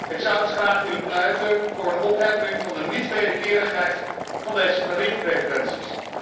Ik zou dus graag willen pleiten voor een opheffing van de niet wederkerigheid van deze tariefpreferenties.